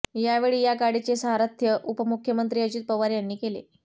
यावेळी या गाडीचे सारथ्य उपमुख्यमंत्री अजित पवार यांनी केले